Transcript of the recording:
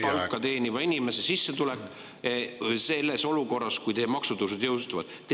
… keskmist palka teeniva inimese sissetulek selles olukorras, kus teie maksutõusud jõustuvad?